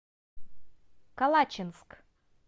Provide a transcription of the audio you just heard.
калачинск